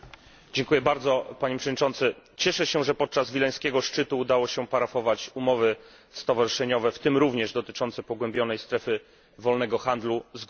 Panie Przewodniczący! Cieszę się, że podczas wileńskiego szczytu udało się parafować umowy stowarzyszeniowe, w tym również dotyczące pogłębionej strefy wolnego handlu z Gruzją i Mołdawią.